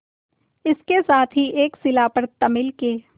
इसके साथ ही एक शिला पर तमिल के